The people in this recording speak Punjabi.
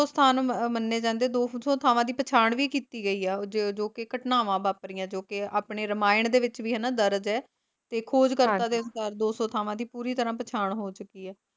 ਤੇ ਜਿੰਨਾ ਵਿੱਚ ਦੋ ਸੌ ਸਥਾਨ ਮੰਨੇ ਜਾਂਦੇ ਦੋ ਸੌ ਥਾਵਾਂ ਦੀ ਪਛਾਣ ਕੀਤੀ ਗਈ ਹੈ ਜੋ ਕੀ ਘਟਨਾਵਾਂ ਵਾਪਰੀਆਂ ਜੋ ਕੇ ਆਪਣੇ ਰਮਾਇਣ ਦੇ ਵਿੱਚ ਵੀ ਹਨਾਂ ਦਰਜ ਹੈ ਤੇ ਖੋਜਕਰਤਾ ਦੇ ਅਨੁਸਾਰ ਦੋ ਸੌ ਥਾਵਾਂ ਦੀ ਪੂਰੀ ਤਰਾਂ ਪਛਾਣ ਹੋ ਚੁੱਕੀ ਹੈ।